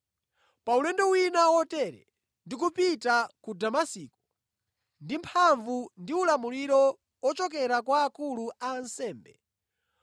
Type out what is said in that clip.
“Pa ulendo wina wotere, ndikupita ku Damasiko ndi mphamvu ndi ulamuliro ochokera kwa akulu a ansembe,